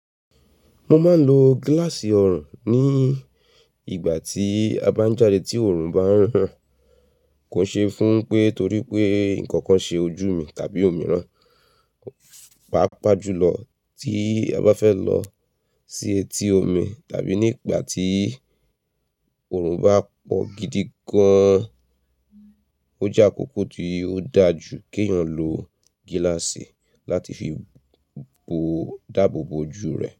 Mo máa ń lo gíláàsì ọrùn ní ìgbà tí a bá jáde tí oòrùn bá ń ran Kò ṣeé fún pé torí pé nǹkan kan ṣe ojú mi tàbí omi rán. Pápá jùlọ tí a bá fẹ́ lọ sí etí omi tàbí nígbà tí oòrùn bá pọ̀ gidi gan, ó jẹ́ àkókò tí ó dáa jù kí èèyàn lo gíláàsì láti fi bo, dáàbò bo ojú rẹ̀